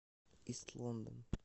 ист лондон